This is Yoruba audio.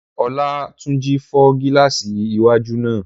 Olátúnjí fọ́ gílààsì iwájú náà